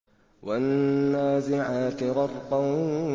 وَالنَّازِعَاتِ غَرْقًا